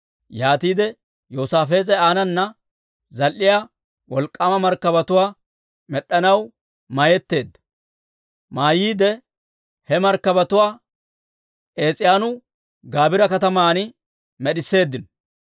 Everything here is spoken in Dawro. Yaatiide Yoosaafees'e aanana zal"iyaa wolk'k'aama markkabatuwaa med'd'anaw mayyetteedda. He markkabatuwaa Ees'iyooni-Gaabira kataman med'isseeddino.